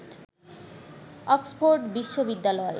Oxford বিশ্ববিদ্যালয়ে